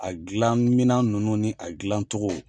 A gilan minan nunnu ni a gilan cogo.